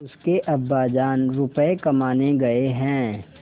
उसके अब्बाजान रुपये कमाने गए हैं